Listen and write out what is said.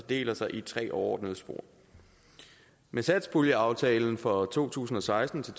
fordeler sig i tre overordnede spor med satspuljeaftalen for to tusind og seksten til